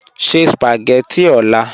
Sẹ̀ spagẹttị ọ̀là.